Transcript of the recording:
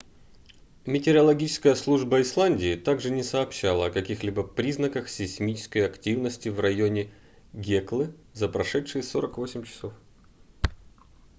метеорологическая служба исландии также не сообщала о каких-либо признаках сейсмической активности в районе геклы за прошедшие 48 часов